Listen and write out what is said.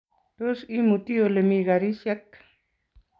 Tos, imuti olemi karishek?